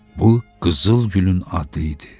Bu qızıl gülün adı idi.